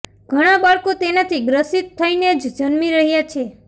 ઘણા બાળકો તેનાથી ગ્રસિત થઇને જ જન્મી રહ્યાં છે